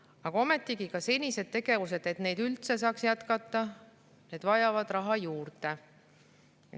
Aga ometi vajavad ka senised tegevused, et neid üldse saaks jätkata, raha juurde.